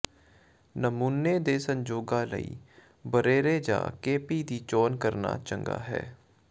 ਨਮੂਨੇ ਦੇ ਸੰਜੋਗਾਂ ਲਈ ਬਰੇਰੇ ਜਾਂ ਕੇਪੀ ਦੀ ਚੋਣ ਕਰਨਾ ਚੰਗਾ ਹੈ